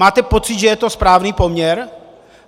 Máte pocit, že je to správný poměr?